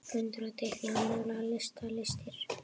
Föndra- teikna- mála- lita- listir